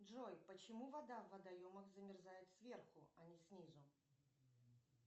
джой почему вода в водоемах замерзает сверху а не снизу